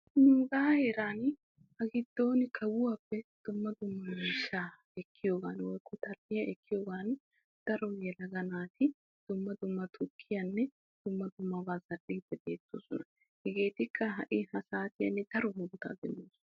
nuugaa heeran ha giddon kawuwappe dumma dumma miishshaa ekkiyogan woyikko tal"iya ekkiyogan daro yelaga naati dumma dumma tukkiyaanne dumma dummabaa zal'iiddi bettoosona. hegeetikka ha'i ha saatiyan daro murutaa demmoosona.